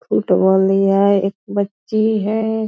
Shoot वाली है एक बच्ची है।